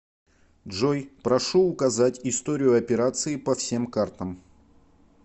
джой прошу указать историю операции по всем картам